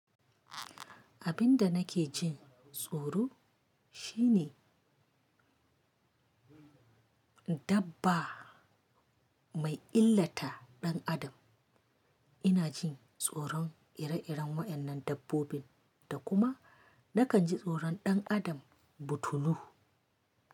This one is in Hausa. Abin da nake jin tsoro shine dabba mai illata ɗan adam. Ina jin tsoron ire-iren wa'yannan dabbobin da kuma nakan ji tsoron ɗan adam butulu.